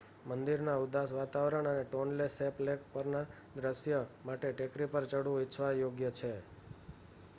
મંદિરના ઉદાસ વાતાવરણ અને ટોન્લે સૅપ લેક પરના દૃશ્ય માટે ટેકરી પર ચઢવું ઇચ્છવા યોગ્ય છે